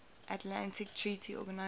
atlantic treaty organisation